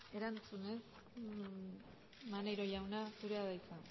erantzunez maneiro jauna zurea da hitza